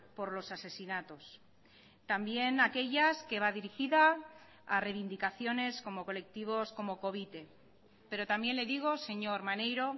por los asesinatos también aquellas que va dirigida a reivindicaciones como colectivos como covite pero también le digo señor maneiro